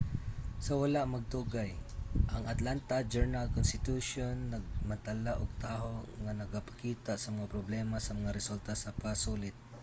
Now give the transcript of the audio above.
sa wala madugay ang atlanta journal-constitution nagmantala og taho nga nagapakita sa mga problema sa mga resulta sa pasulit